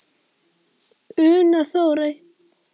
Una Þórey.